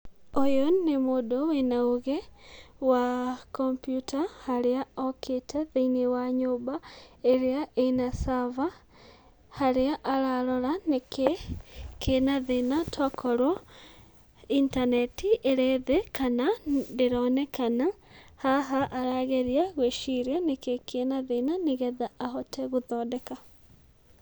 Ũyũ nĩ mũndũ wĩna ũgĩ wa kompiuta harĩa okĩte thĩiniĩ wa nyũmba ĩrĩa ĩna server, harĩa ararora nĩkĩ kĩna thĩna tokorwo intaneti ĩrĩ thĩ kana ndĩronekana, haha arageria gwĩciria nĩkĩ kĩna thĩna, nĩgetha ahote gũthondeka.